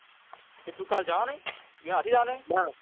તે એટલે તું કાલ જવાનો છે એના સાથે જવા નો છે? નાં